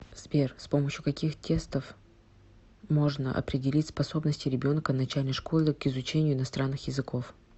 сбер с помощью каких тестов можно определить способности ребенка начальной школы к изучению иностранных языков